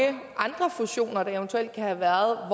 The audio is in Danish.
andre fusioner der eventuelt kan have været